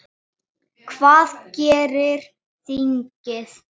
Hvað gerir þingið?